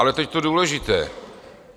Ale teď to důležité.